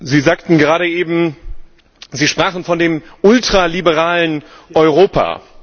Sie sprachen von dem ultraliberalen Europa.